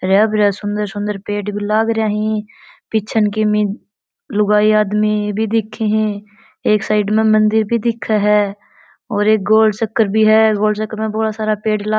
हरा भरा सुन्दर सुन्दर पेड़ भी लाग रा ही पिछन किमी लुगाई आदमी भी दिखे ही एक साइड में मंदिर भी दिखे है और एक गोल चक्र भी है अ गोल चक्र में बोला सारा प --